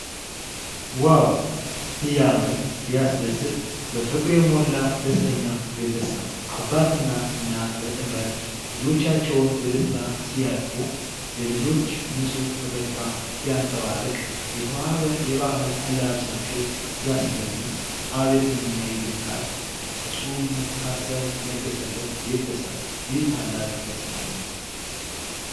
ዋው! ሲያምር! ሲያስደስት! በፍቅር የሞላ ደስተኛ ቤተሰብ! አባትና እናት በጥምረት ልጆቻቸውን በደስታ ሲያቅፉ! የልጆች ንጹህ ፈገግታ ሲያንፀባርቅ! የተዋበ የባህል አለባበሳቸው ሲያስደምም! አቤት ምንኛ ይደንቃል! ፍፁም መተሳሰብ የነገሰበት ቤተሰብ! ይህ ታላቅ ደስታ ነው!